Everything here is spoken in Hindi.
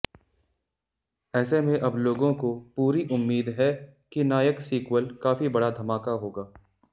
ऐसे में अब लोगों को पूरी उम्मीद है कि नायक सीक्वल काफी बड़ा धमाका होगा